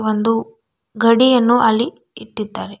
ಒಂದು ಗಡಿ ಅನ್ನು ಅಲ್ಲಿ ಇಟ್ಟಿದ್ದಾರೆ.